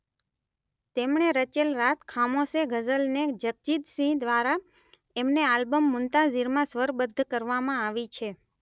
તેમણે રચેલ રાત ખામોશ હે ગઝલને જગજીત સિંઘ દ્વારા એમને આલ્બમ મુન્તાઝીરમાં સ્વરબદ્ધ કરવામાં આવી છે.